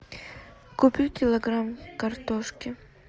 купи килограмм картошки